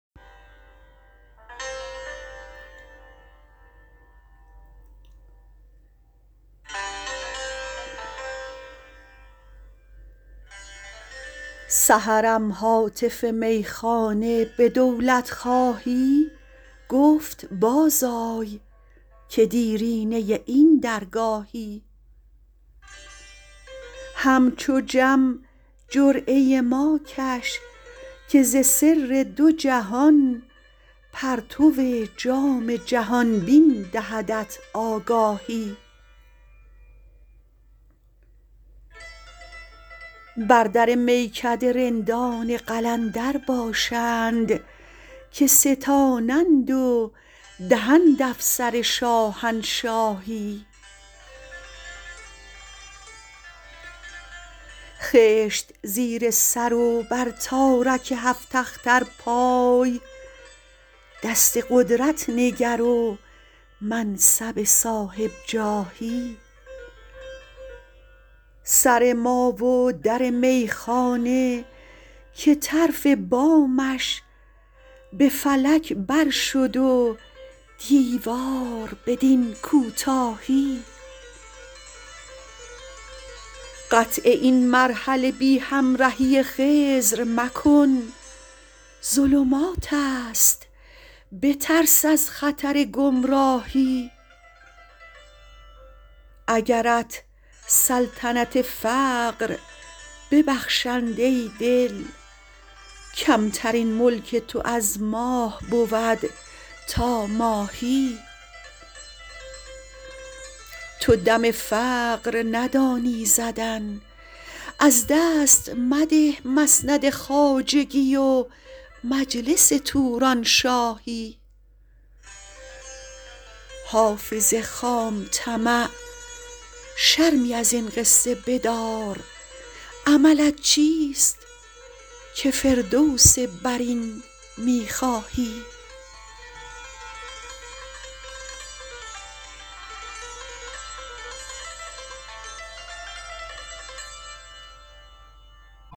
سحرم هاتف میخانه به دولت خواهی گفت باز آی که دیرینه این درگاهی همچو جم جرعه ما کش که ز سر دو جهان پرتو جام جهان بین دهدت آگاهی بر در میکده رندان قلندر باشند که ستانند و دهند افسر شاهنشاهی خشت زیر سر و بر تارک هفت اختر پای دست قدرت نگر و منصب صاحب جاهی سر ما و در میخانه که طرف بامش به فلک بر شد و دیوار بدین کوتاهی قطع این مرحله بی همرهی خضر مکن ظلمات است بترس از خطر گمراهی اگرت سلطنت فقر ببخشند ای دل کمترین ملک تو از ماه بود تا ماهی تو دم فقر ندانی زدن از دست مده مسند خواجگی و مجلس تورانشاهی حافظ خام طمع شرمی از این قصه بدار عملت چیست که فردوس برین می خواهی